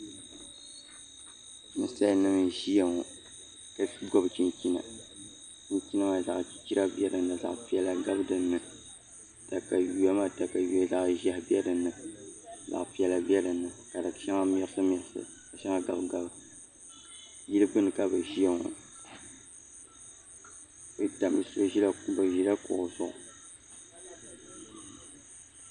Nanim n ʒiya ŋo ka gobi chinchina chinchina maa zaɣ piɛla bɛ dinni zaɣ chichira gabi dinni katawiya maa katawiya zaɣ ʒiɛhi bɛ dinni ka zaɣ piɛla bɛ dinni ka di shɛŋa mɛki mɛki ka shɛŋa gabi gabi yili gbuni ka bi ʒiya ŋo bi ʒila kuɣu zuɣu